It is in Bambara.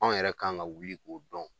Anw yɛrɛ kan ka wuli k'o dɔn